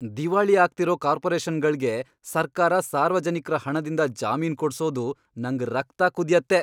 ದಿವಾಳಿ ಆಗ್ತಿರೋ ಕಾರ್ಪೊರೇಷನ್ಗಳ್ಗೆ ಸರ್ಕಾರ ಸಾರ್ವಜನಿಕ್ರ ಹಣದಿಂದ ಜಾಮೀನ್ ಕೊಡ್ಸೋದು ನಂಗ್ ರಕ್ತ ಕುದ್ಯತ್ತೆ.